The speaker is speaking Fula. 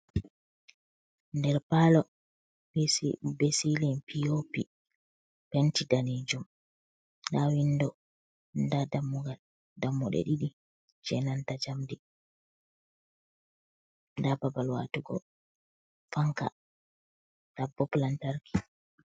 Nder parlo be ceiling POP penti danejum. Nda window, nda dammugal; dammuɗe ɗiɗi je nanta njamdi, nda babal watugo fanka, nda bulb lantarki.